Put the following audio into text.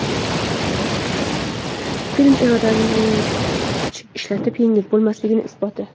Film irodani kuch ishlatib yengib bo‘lmasligining isboti.